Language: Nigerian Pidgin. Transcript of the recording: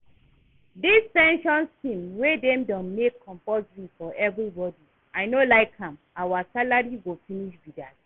Dis pension scheme wey dem don make compulsory for everybody I no like am, our salary go finish be dat